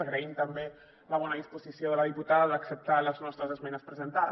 agraïm també la bona disposició de la diputada d’acceptar les nostres esmenes presentades